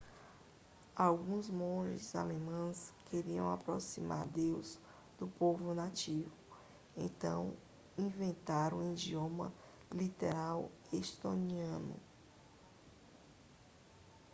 alguns monges alemães queriam aproximar deus do povo nativo então inventaram a idioma literal estoniano